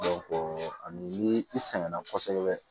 ani ni i sɛgɛn na kosɛbɛ